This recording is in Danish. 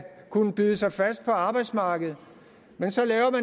kunne bide sig fast på arbejdsmarkedet men så laves